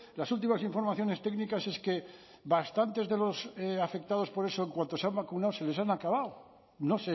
las últimas informaciones técnicas es que bastantes de los afectados por eso en cuanto se han vacunado se les han acabado no